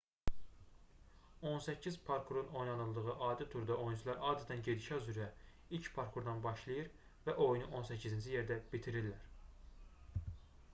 on səkkiz parkurun oynanıldığı adi turda oyunçular adətən gedişat üzrə ilk parkurdan başlayır və oyunu on səkkizinci yerdə bitirirlər